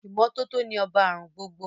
Ìmọ́tótó ni ọba àrùn gbogbo